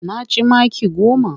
Na ci maki goma.